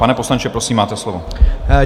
Pane poslanče, prosím, máte slovo.